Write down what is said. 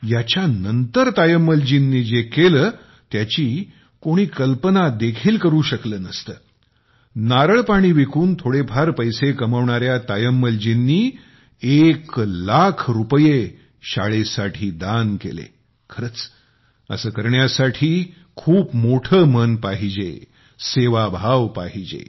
याच्यानंतर तायम्मलजींनी जे केले त्याची कोणी कल्पना देखील करू शकले नसते नारळपाणी विकून थोडेफार पैसे कमावणाऱ्या तायम्मलजींनी एक लाख रुपये शाळेसाठी दान केले खरंच असं करण्यासाठी खूप मोठं मन पाहिजे सेवाभाव पाहिजे